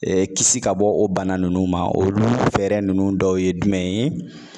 kisi ka bɔ o bana nunnu ma olu fɛɛrɛ ninnu dɔw ye jumɛn ye